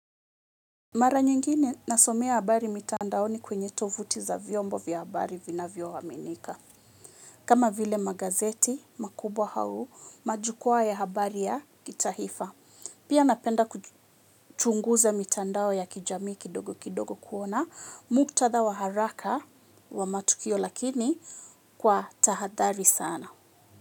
Mara nyingine nasomea habari mitandaoni kwenye tovuti za vyombo vya habari vinavyo aminika. Kama vile magazeti, makubwa au, majukuwa ya habari ya kitaifa. Pia napenda kuchunguza mitandao ya kijami kidogo kidogo kuona. Muktadha wa haraka wa matukio lakini kwa tahadhari sana.